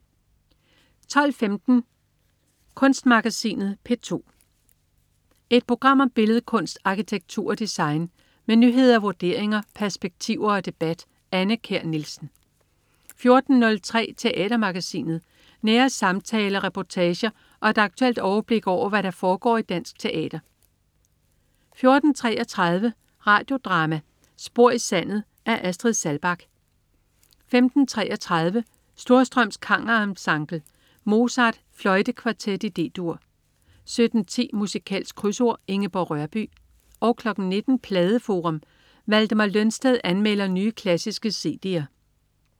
12.15 Kunstmagasinet P2. Et program om billedkunst, arkitektur og design. Med nyheder, vurderinger, perspektiver og debat. Anne Kjær Nielsen 14.03 Teatermagasinet. Nære samtaler, reportager og et aktuelt overblik over, hvad der foregår i dansk teater 14.33 Radio Drama: Spor i sandet. Af Astrid Saalbach 15.33 Storstrøms Kammerensemble. Mozart: Fløjtekvartet i D-dur 17.10 Musikalsk Krydsord. Ingeborg Rørbye 19.00 Pladeforum. Valdemar Lønsted anmelder nye, klassiske cd'er